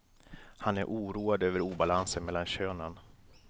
Han är oroad över obalansen mellan könen.